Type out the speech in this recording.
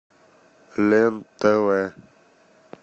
лен тв